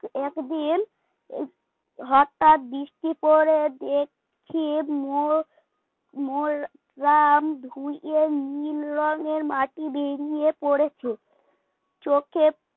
একদিন হঠাৎ বৃষ্টি পড়ে দেখি দেখি মোর মোরাম ধুয়ে নীল রঙের মাটি বেরিয়ে পড়েছে চোখে